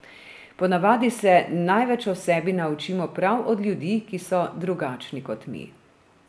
Po navadi se največ o sebi naučimo prav od ljudi, ki so drugačni kot mi.